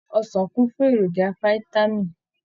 Ọsàn kún fún èròjà fitami.